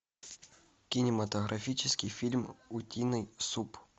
кинематографический фильм утиный суп